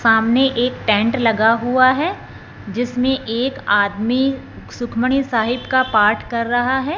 सामने एक टेंट लगा हुआ है जिसमें एक आदमी सुखमणि साहिब का पाठ कर रहा है।